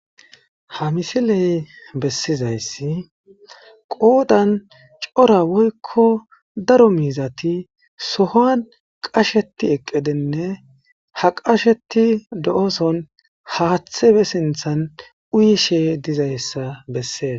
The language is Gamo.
Ha misiley bessizayssi qoodan cora woykko daro miizati sohuwan qasheti eqqidinne ha qasheti do'oson haaththe be sinthan uyishe dizayssa bessees.